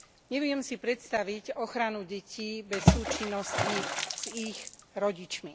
Neviem si predstaviť ochranu detí bez súčinnosti s ich rodičmi.